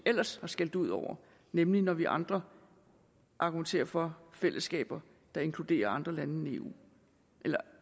ellers har skældt ud over nemlig når vi andre argumenterer for fællesskaber der inkluderer andre lande